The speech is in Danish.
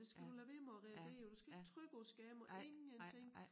Det skal du lade være med at reagere på du skal ikke trykke på scam og ingenting